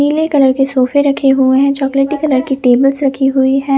नीले कलर के सोफे रखे हुए है चॉकलेटी कलर के टेबल्स रखी हुई है।